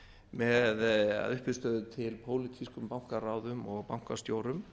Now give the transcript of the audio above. með að uppistöðu til pólitískum bankaráðum og bankastjórum